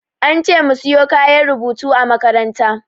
An ce mu siyo kayan rubutu a makaranta.